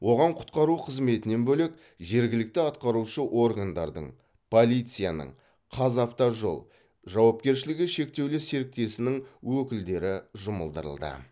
оған құтқару қызметінен бөлек жергілікті атқарушы органдардың полицияның қазавтожол жауапкершілігі шектеулі серіктесінің өкілдері жұмылдырылды